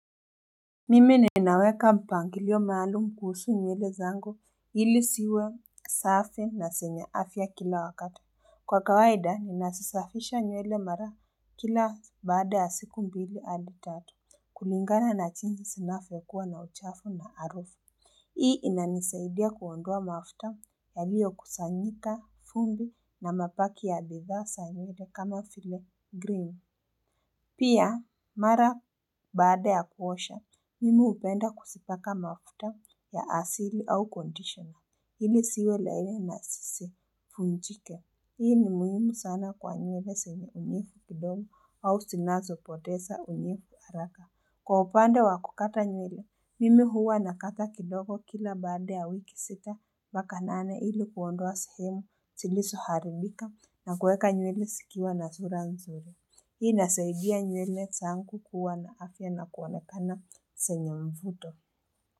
Mimi ninaweka mpangilio maalum kuusu nywele zangu hili siwe safi na senye afya kila wakati kwa kawaida nina sisafisha nywele mara kila baada ya siku mbili adi tatu kulingana na chinsi sinafo kuwa na uchafu na arufu hii inanisaidia kuondoa mafta ya liyo kusanyika fumbi na mapaki ya bidhaa sa nywele kama file green pia mara baada ya kuosha mimi hupenda kusipaka mafuta ya asili au condition ili siwe laini na zisifunjike. Hii ni muhimu sana kwa nywele senye unyefu kidogo au sinazo poteza unyefu araka. Kwa upande wa kukata nywele, mimi huwa nakata kidogo kila baada ya wiki sita. Baka nane ili kuondoa sehemu, siliso haribika na kweka nywele sikiwa na zura nzuri. Hii inasaidia nyele sangu kuwana afya na kuonekana senyo mfuto.